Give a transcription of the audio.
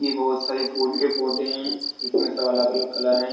यह बहुत सारे फूल के पौधे हैं जिसमें सब अलग-अलग कलर है।